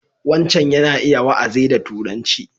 Wancan yana iya wa'azi da Turanci.